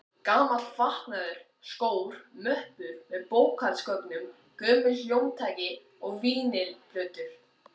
Gamall fatnaður, skór, möppur með bókhaldsgögnum, gömul hljómtæki og vínyl-plötur.